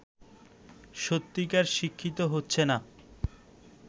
সত্যিকার শিক্ষিত হচ্ছে না